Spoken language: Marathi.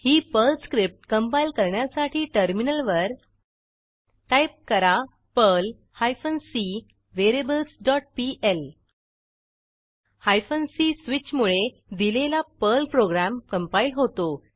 ही पर्ल स्क्रिप्ट कंपाईल करण्यासाठी टर्मिनलवर टाईप करा Perl hyphen C variables dot PL hyphen C स्विचमुळे दिलेला पर्ल प्रोग्रॅम कंपाईल होतो